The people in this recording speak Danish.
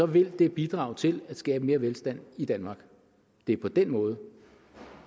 vil det bidrage til at skabe mere velstand i danmark det er på den måde